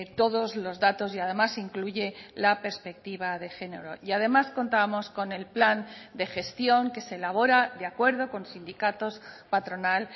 todos los datos y además incluye la perspectiva de género y además contábamos con el plan de gestión que se elabora de acuerdo con sindicatos patronal